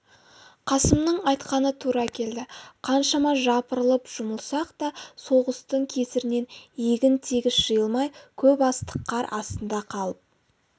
қасымның айтқаны тура келді қаншама жапырылып жұмылсақ та соғыстың кесірінен егін тегіс жиылмай көп астық қар астында қалып